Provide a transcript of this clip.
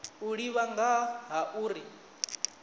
u ḓivha nga ha uri